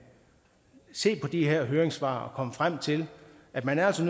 se på de her høringssvar og komme frem til at man altså